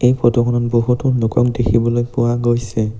এই ফটো খনত বহুতো লোকক দেখিবলৈ পোৱা গৈছে।